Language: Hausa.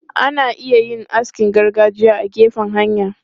Ana iya yin askin gargajiya a gefen hanya.